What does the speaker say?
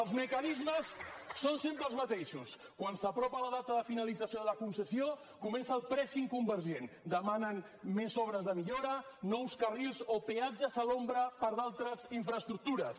els mecanismes són sempre els mateixos quan s’apropa la data de finalització de la concessió comença el pressing convergent demanen més obres de millora nous carrils o peatges a l’ombra per a d’altres infraestructures